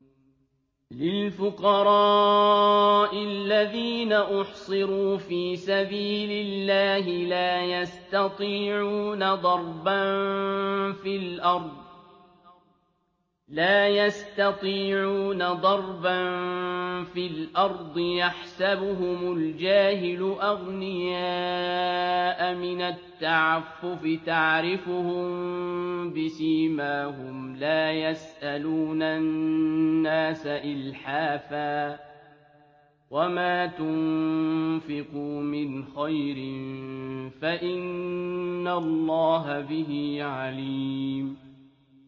لِلْفُقَرَاءِ الَّذِينَ أُحْصِرُوا فِي سَبِيلِ اللَّهِ لَا يَسْتَطِيعُونَ ضَرْبًا فِي الْأَرْضِ يَحْسَبُهُمُ الْجَاهِلُ أَغْنِيَاءَ مِنَ التَّعَفُّفِ تَعْرِفُهُم بِسِيمَاهُمْ لَا يَسْأَلُونَ النَّاسَ إِلْحَافًا ۗ وَمَا تُنفِقُوا مِنْ خَيْرٍ فَإِنَّ اللَّهَ بِهِ عَلِيمٌ